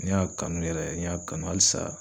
N y'a kanu yɛrɛ n y'a kanu halisa